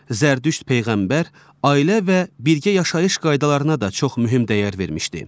Zərdüşt peyğəmbər ailə və birgə yaşayış qaydalarına da çox mühüm dəyər vermişdi.